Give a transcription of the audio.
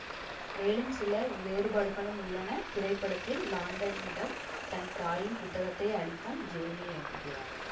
மேலும் சில வேறுபாடுகளும் உள்ளன திரைப்படத்தில் லாண்டனிடம் தன் தாயின் புத்தகத்தை அளிக்கும் ஜேமீ என்கிறாள்